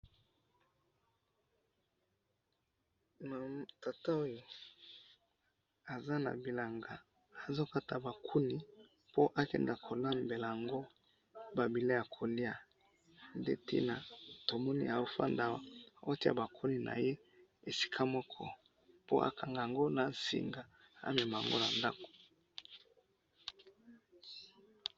tata oyo aza na bilanga azo kata ba kuni po akende kolambela yango ba bileyi ya koliya nde tina tomoni afandi awa azo tiya ba kuni naye esika moko akangii naba singa pona amema yango na ndaku